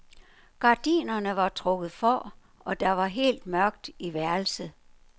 Gardinerne var trukket for, og der var helt mørkt i værelset.